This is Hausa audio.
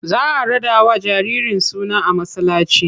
Za a raɗawa jaririn suna a masallaci.